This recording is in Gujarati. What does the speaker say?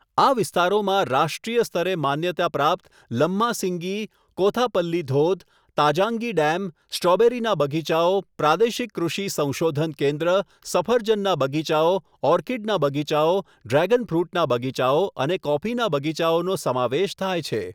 આ વિસ્તારોમાં રાષ્ટ્રીય સ્તરે માન્યતા પ્રાપ્ત લમ્માસિંગી, કોથાપલ્લી ધોધ, તાજાંગી ડેમ, સ્ટ્રોબેરીના બગીચાઓ, પ્રાદેશિક કૃષિ સંશોધન કેન્દ્ર, સફરજનના બગીચાઓ, ઓર્કિડના બગીચાઓ, ડ્રેગન ફ્રૂટના બગીચાઓ અને કોફીના બગીચાઓનો સમાવેશ થાય છે.